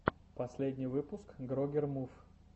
последний выпуск грогер мув